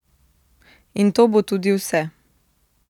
In to bo tudi vse.